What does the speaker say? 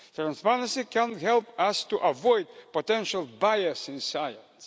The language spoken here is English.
Transparency can help us to avoid potential bias in science.